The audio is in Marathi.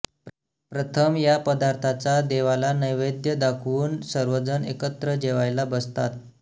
प्रथम या पदार्थाचा देवाला नैवेद्य दाखवून सर्वजण एकत्र जेवायला बसतात